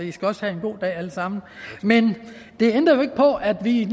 i skal også have en god dag alle sammen men det ændrer jo ikke på at vi